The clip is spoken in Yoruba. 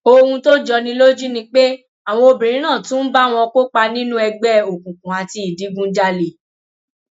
ohun tó jọ ní lójú ni pé àwọn obìnrin náà tún ń bá wọn kópa nínú ẹgbẹ òkùnkùn àti ìdígunjalè